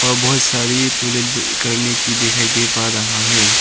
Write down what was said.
बहुत सारी करने की दिखाई दे पा रहा है।